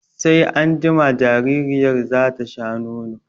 Sai anjima jaririyar za ta sha nono.